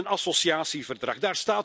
We hebben een associatieverdrag.